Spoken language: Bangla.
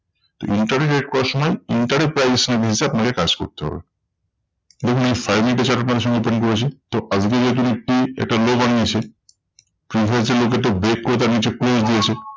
তো interrogate করার সময় inter এর price action এ আপনাকে কাজ করতে হবে। দেখুন আমি five মিনিটের chart আপনাদের সামনে open করেছি। তো একটি একটা low বানিয়েছে previous যে low কে তো break করে নিচে হয়েছে।